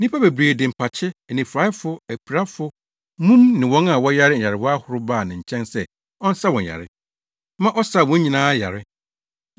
Nnipa bebree de mpakye, anifuraefo, apirafo, mum ne wɔn a wɔyare nyarewa ahorow baa ne nkyɛn sɛ ɔnsa wɔn yare, ma ɔsaa wɔn nyinaa yare.